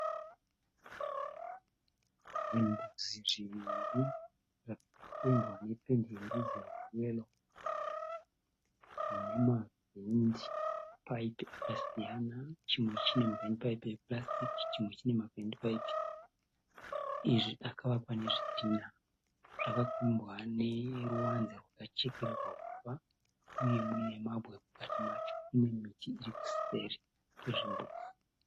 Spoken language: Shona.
Zvimbuzi zviviri zvakapendwa nependi yerudzi rweyero. Zvinemavhendipaipi akasiyana chimwe chinemavhendipaipi epurasitiki chimwe chinemavhendipaipi ezvi akavakwa nezvidhinha. Zvakakombwa neruvanze rwakachekererwa uswa uye munemabwe mukati macho. Kunemiti irikuseri kwezvimbuzi.